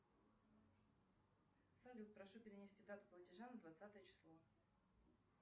салют прошу перенести дату платежа на двадцатое число